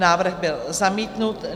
Návrh byl zamítnut.